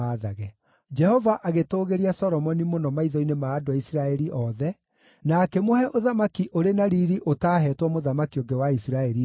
Jehova agĩtũũgĩria Solomoni mũno maitho-inĩ ma andũ a Isiraeli othe, na akĩmũhe ũthamaki ũrĩ na riiri ũtaahetwo mũthamaki ũngĩ wa Isiraeli mbere ĩyo.